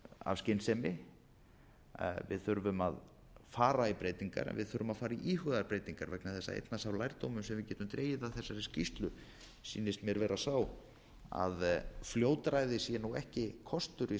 af skynsemi við þurfum að fara í breytingar en við þurfum að fara að íhuga breytingar vegna þess að einn er sá lærdómur sem við getum dregið af þessari skýrslu sýnist mér vera sá að fljótræði sé ekki kostur í